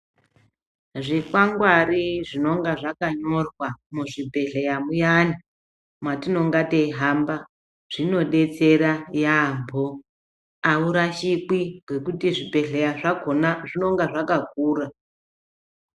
Zvikwangwari zvinonga zvakanyorwa muzvibhedhlera muyani matinonga teyi hamba zvinodetsera yaambo aurashikwi ngekuti zvibhedhlera zvakona zvinonga zvakakura .